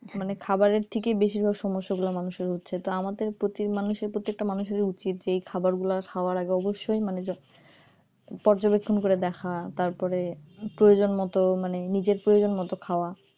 মানে খাবারে থেকে বেশিরভাগ সমস্যা গুলা মানুষের হচ্ছে তো আমাদের প্রতিটি মানুষের প্রতি একটা মানুষের উচিত যে এই খাবার গুলা খাওয়ার আগে অবশ্যই মানে যত পর্যবেক্ষণ করে দেখা তারপরে প্রয়োজনমতো মানে নিজের প্রয়োজন মত খাওয়া